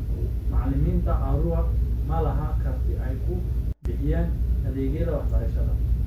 Macallimiinta Arua ma laha karti ay ku bixiyaan adeegyada waxbarashada.